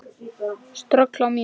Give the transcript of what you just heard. Ströggl á mínum?